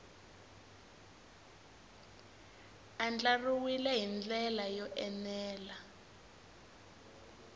andlariwile hi ndlela yo enela